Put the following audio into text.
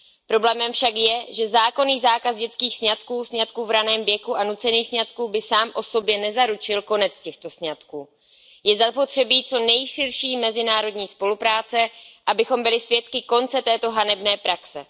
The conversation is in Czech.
Problémem však je, že zákonný zákaz dětských sňatků, sňatků v raném věku a nucených sňatků by sám o sobě nezaručil konec těchto sňatků. Je zapotřebí co nejširší mezinárodní spolupráce, abychom byli svědky konce této hanebné praxe.